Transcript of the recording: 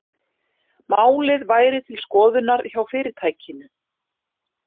Málið væri til skoðunar hjá fyrirtækinu